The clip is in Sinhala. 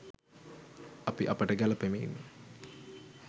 අපි අපට ගැළපෙමින්